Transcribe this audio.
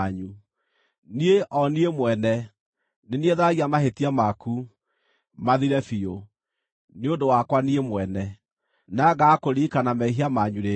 “Niĩ, o niĩ mwene, nĩ niĩ tharagia mahĩtia maku, mathire biũ, nĩ ũndũ wakwa Niĩ mwene, na ngaaga kũririkana mehia manyu rĩngĩ.